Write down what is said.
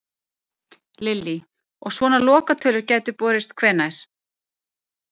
Lillý: Og svona lokatölur gætu borist hvenær?